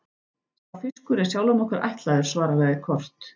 Sá fiskur er sjálfum okkur ætlaður, svaraði Kort.